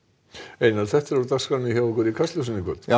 einar þetta í Kastljósinu já